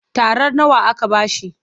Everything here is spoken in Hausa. Tarar nawa aka ba shi?